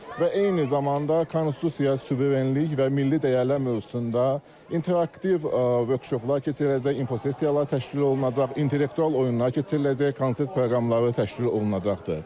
Və eyni zamanda konstitusiya, suverenlik və milli dəyərlər mövzusunda interaktiv workshoplar keçiriləcək, info sessiyalar təşkil olunacaq, intellektual oyunlar keçiriləcək, konsert proqramları təşkil olunacaqdır.